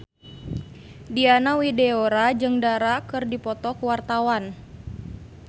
Diana Widoera jeung Dara keur dipoto ku wartawan